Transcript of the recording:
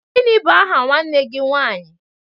Gịnị bụ aha nwanne gị nwaanyị?